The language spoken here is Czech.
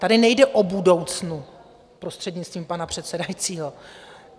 Tady nejde o budoucno, prostřednictvím pana předsedajícího.